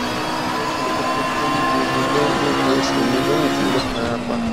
kí ni koko to n dunní lórí ẹsẹ mi lẹyìn tí mo bá fara pa